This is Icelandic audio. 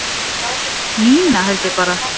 Nína held ég bara